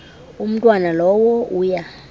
umntwana lowo uya